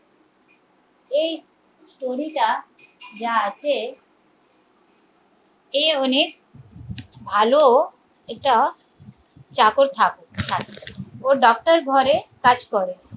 এই story র টা যা আছে এ অনেক ভালো এটা চাকর থাকে ও ডাক্তার ঘরে কাজ করে